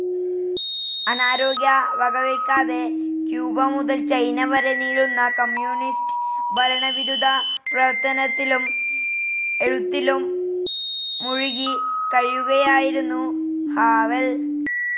അനാരോഗ്യം വകവയ്‌ക്കാതെ, ക്യൂബ മുതൽ ചൈന വരെ നീളുന്ന കമ്മ്യൂണിസ്റ്റ്‌ ഭരണവിരുദ്ധ പ്രവർത്തനത്തിലും എഴുത്തിലും മുഴുകി കഴിയുകയായിരുന്നു ഹാവെൽ.